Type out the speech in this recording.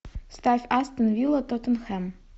ставь астон вилла тоттенхэм